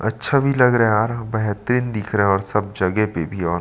अच्छा भी लग रहा है यार बेहतरीन दिख रहा है और सब जगहे पे भी और --